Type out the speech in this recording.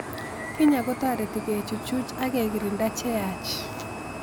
Kenya ko tareti kechuchuch ak kekrinda che yach